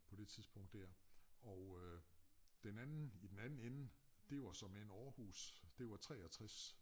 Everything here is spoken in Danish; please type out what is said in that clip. På det tidspunkt dér og øh den anden i den anden ende det var såmænd Aarhus det var 63